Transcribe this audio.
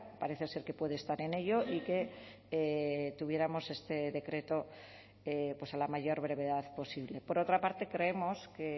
parece ser que puede estar en ello y que tuviéramos este decreto a la mayor brevedad posible por otra parte creemos que